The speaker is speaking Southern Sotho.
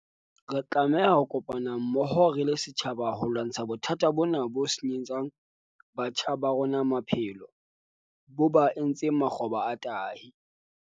Re tlameha ho kopana mmoho re le setjhaba ho lwantsha bothata bona bo senyetsang batjha ba rona maphelo, bo ba etse makgoba a tahi.